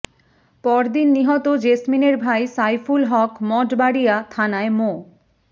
পরদিন নিহত জেসমিনের ভাই সাইফুল হক মঠবাড়িয়া থানায় মো